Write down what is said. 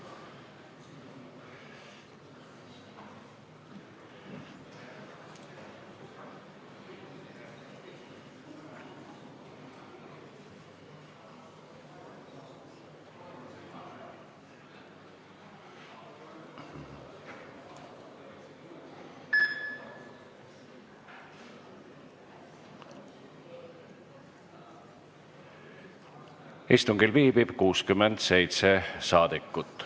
Kohaloleku kontroll Istungil viibib 67 saadikut.